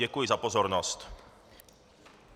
Děkuji za pozornost.